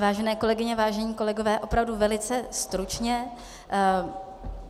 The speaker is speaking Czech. Vážené kolegyně, vážení kolegové, opravdu velice stručně.